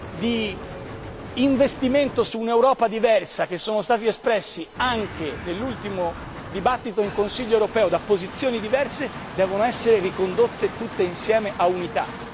di investimento su un'Europa diversa, che sono stati espressi anche nell'ultimo dibattito in Consiglio europeo, da posizioni diverse devono essere ricondotte tutte insieme a unità.